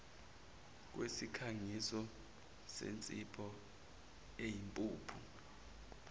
kwesikhangiso sensipho eyimpuphu